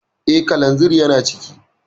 Eh, kalanzir yana ciki